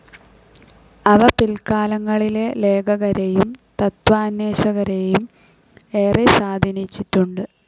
അവ പിൽക്കാലങ്ങളിലെ ലേഖകരെയും തത്വാന്വേഷകരെയും ഏറെ സ്വാധീനിച്ചിട്ടുണ്ട്.